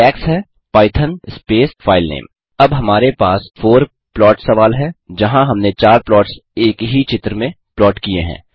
syntax है Python space filename अब हमारे पास फोर प्लॉट सवाल है जहाँ हमने चार प्लॉट्स एक ही चित्र में प्लॉट किये हैं